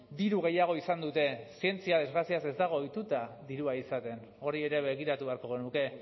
diru gehiago izan dute zientzia desgraziaz ez dago ohituta dirua izaten hori ere begiratu beharko genuke